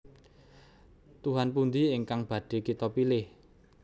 Tuhan pundi ingkang badhé kita pilih